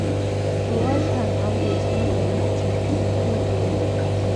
to wash hand always no be big thing e good o.